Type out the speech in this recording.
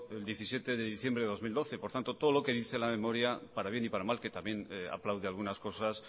el diecisiete de diciembre del dos mil doce por tanto todo lo que dice la memoria para bien y para mal que también aplaude algunas cosas